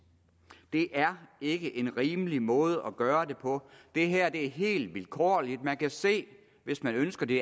det er ikke en rimelig måde at gøre det på det her er helt vilkårligt man kan se hvis man ønsker det